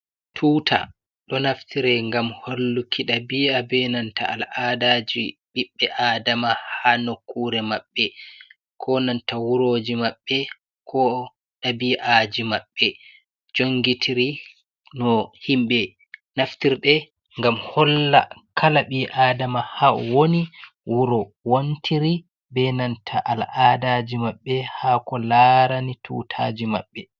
Tuta ɗo naftiri ngam holluki ɗabi'aji be nanta al'adaji ɓiɓɓe adama ha nokkure maɓɓe ko nanta wuroji maɓɓe, ko ɗabi'aji maɓɓe jongitiri no himɓe naftirde gam holla kala ɓii adama ha woni wuro wantiri, be nanta al'adaji maɓɓe ha ko larani tutaji maɓɓe.